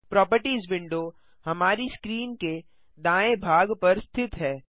properties window हमारी screen के दाएँ भाग पर स्थित है